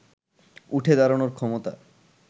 উঠে দাঁড়ানোর ক্ষমতা